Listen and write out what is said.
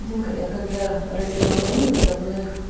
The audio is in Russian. димка я когда родила малую со мной